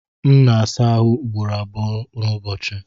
M na-asa ahụ ugboro abụọ n'ụbọchị.